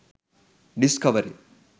discovery